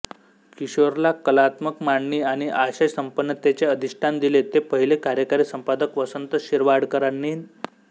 किशोरला कलात्मक मांडणी आणि आशय संपन्नतेचे अधिष्ठान दिले ते पहिले कार्यकारी संपादक वसंत शिरवाडकरांनी